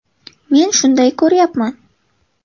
Men shunday ko‘ryapman.